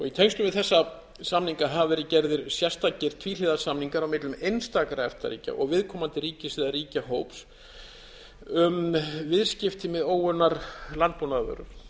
í tengslum við þessa samninga hafa verið gerðir sérstakir tvíhliða samningar á millum einstakra efta ríkja og viðkomandi ríkis eða ríkjahóps um viðskipti með óunnar landbúnaðarvörur